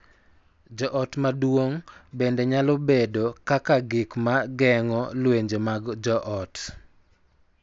Jo ot maduong� bende nyalo bedo kaka gik ma geng�o lwenje mag joot,